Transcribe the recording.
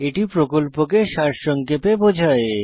এটি প্রকল্পকে সারসংক্ষেপে বোঝায়